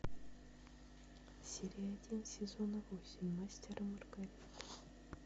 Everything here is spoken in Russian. серия один сезона восемь мастер и маргарита